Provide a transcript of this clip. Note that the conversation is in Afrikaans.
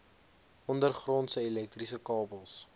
ondergrondse elektriese kabels